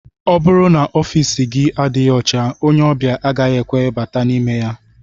Ọ bụrụ n'ofici gị adịghị ọcha ónyé obia agaghị ekwe bata n'ime ya.